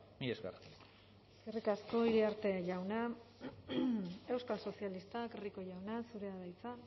mila esker eskerrik asko iriarte jauna euskal sozialistak rico jauna zurea da hitza